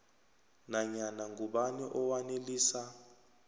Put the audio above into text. nanyana ngubani owanelisa